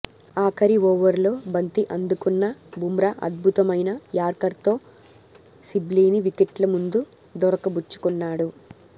ఆఖరి ఓవర్లో బంతి అందుకున్న బుమ్రా అద్భుతమైన యార్కర్తో సిబ్లీని వికెట్ల ముందు దొరకబుచ్చుకున్నాడు